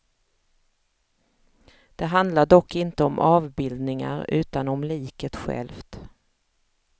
Det handlar dock inte om avbildningar utan om liket självt.